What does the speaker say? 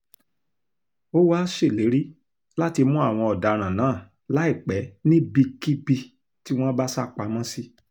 ó wàá ṣèlérí láti mú àwọn ọ̀daràn náà láìpẹ́ níbikíbi tí wọ́n bá sá pamọ́ sí